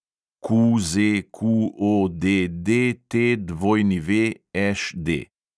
QZQODDTWŠD